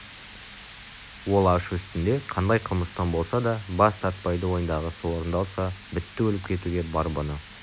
ол ашу үстінде қандай қылмыстан болса да бас тартпайды ойындағысы орындалса бітті өліп кетуге бар бұны